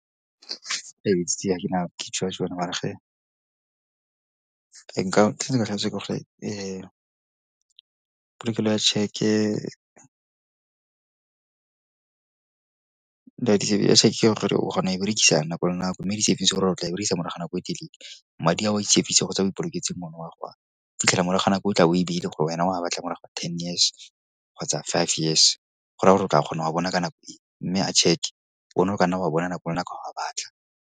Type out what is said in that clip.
nka, nkile ka polokelo ya tšheke, o kgona go e berekisa nako le nako mme di-savings go raya gore o tla e berekisa morago nako e telele. Madi a o a di-savings kgotsa a o ipoloketseng ona o a go a fitlhela morago ga nako e tla bo o e beile gore wena o a batla morago ga ten years kgotsa five years. Go raya gore o tla kgona go a bona ka nako e mme a cheque one o ka na go a bona nako le nako ga o a batla.